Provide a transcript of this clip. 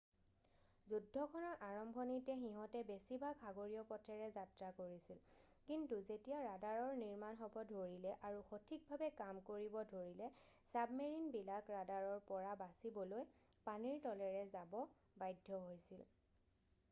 যুদ্ধখনৰ আৰম্ভণিতে সিহঁতে বেছিভাগ সাগৰীয় পথেৰে যাত্ৰা কৰিছিল কিন্তু যেতিয়া ৰাডাৰৰ নিৰ্মাণ হ'ব ধৰিলে আৰু সঠিকভাৱে কাম কৰিব ধৰিলে চাবমেৰিনবিলাক ৰাডাৰৰ পৰা বাচিবলৈ পানীৰ তলেৰে যাব বাধ্য হৈছিল